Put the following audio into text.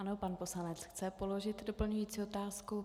Ano, pan poslanec chce položit doplňující otázku.